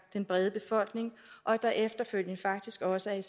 den brede befolkning og at der efterfølgende faktisk også er